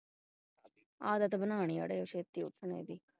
ਆਦਤ ਬਣਾਉਣੀ ਅੜੀਏ ਛੇਤੀ ਉੱਠਣ ਦੀ